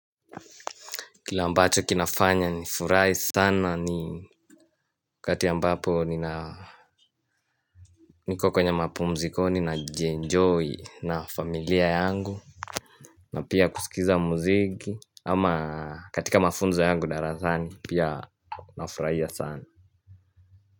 Kile ambacho kinafanya nifurahi sana ni ninapokuwa kwenye mapumziko na jienjoy na familia yangu na pia kusikiza muziki ama katika mafunzo yangu darasani pia nafurahia sana.